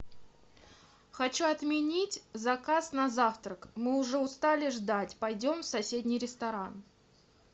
хочу отменить заказ на завтрак мы уже устали ждать пойдем в соседний ресторан